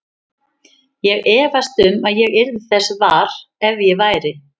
Ég efast um að ég yrði þess var, ef svo væri